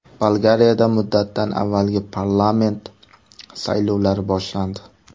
Bolgariyada muddatidan avvalgi parlament saylovlari boshlandi.